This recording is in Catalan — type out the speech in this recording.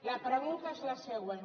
la pregunta és la següent